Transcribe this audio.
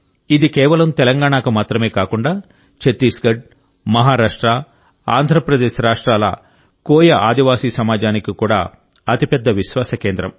ఇది కేవలం తెలంగాణకు మాత్రమే కాకుండా ఛత్తీస్గఢ్ మహారాష్ట్ర ఆంధ్రప్రదేశ్ రాష్ట్రాల కోయ ఆదివాసీ సమాజానికి కూడా అతి పెద్ద విశ్వాస కేంద్రం